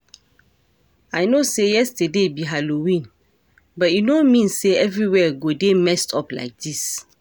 I no say yesterday be halloween but e no mean say everywhere go dey messed up like dis